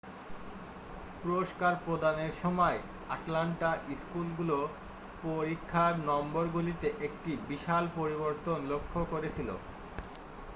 পুরস্কার প্রদানের সময় আটলান্টা স্কুলগুলো পরিক্ষার নম্বর গুলিতে একটি বিশাল পরিবর্তন লক্ষ্য করেছিলো